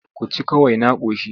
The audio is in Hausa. Ku ci kawai na ƙoshi.